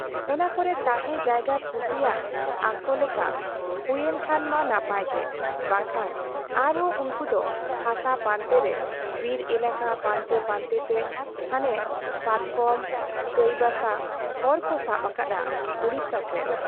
ᱚᱱᱟ ᱠᱚᱨᱮ ᱛᱟᱦᱮᱸ ᱡᱟᱭᱜᱟ ᱠᱩᱥᱤᱭᱟᱜ ᱟᱜ ᱞᱮᱠᱟ ᱦᱩᱭᱩᱮᱱ ᱠᱷᱟᱱ ᱢᱟ ᱱᱟᱯᱟᱭ ᱜᱮ, ᱵᱟᱝ ᱠᱷᱟᱱ ᱟᱨ ᱦᱚᱸ ᱩᱱᱠᱩ ᱫᱚ ᱦᱟᱥᱟ ᱯᱟᱱᱛᱮ ᱨᱮ ᱵᱤᱨ ᱮᱞᱟᱠᱟ ᱯᱟᱱᱛᱮ ᱯᱟᱱᱛᱮ ᱛᱮ ᱦᱟᱱᱮ ᱯᱟᱛᱠᱚᱢ , ᱪᱟᱸᱭ ᱵᱟᱥᱟ ᱦᱚᱨᱠᱚ ᱥᱟᱵ ᱟᱠᱟᱫ ᱟ ᱩᱰᱤᱥᱟ ᱥᱮᱫ ᱾